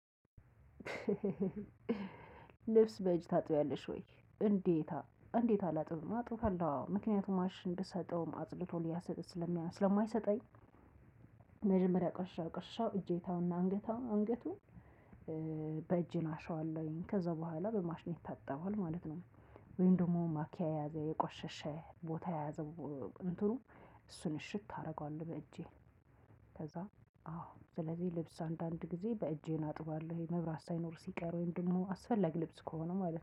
ልብስ በእጅ ታጥቢያለሽ ወይ እንዴታ እንዴት አላጥብም አጥባለው አዎ ምክኛቱም ማሽን ብሰጠውም አጽድቶ ስለማይሰጠኝ መጀመሪያ ቆሻሻ ቆሻሻውን እጄታውና አንጌታው አንገቱን። በእጄ አሸዋለሁኝ ከዛ በኋላ በማሽን ይታጠባል ማለት ነው። ወይም ደግሞ ማኪያ የያዘ የቆሸሸ ቦታ የያዘው እንትኑ እሱን እሽት አደርገዋለሁ በእጄ። ከዛ አዎ ስለዚህ ልብስ አንዳንድ ጊዜ በእጄ አጥባለሁኝ። መብራት ሳይኖር ሲቀር ወይም ደግሞ አስፈላጊ ልብስ ከሆነ ማለት ነው